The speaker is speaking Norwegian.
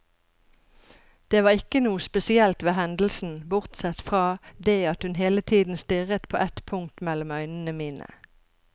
Det var ikke noe spesielt ved hendelsen, bortsett fra det at hun hele tiden stirret på et punkt mellom øynene mine.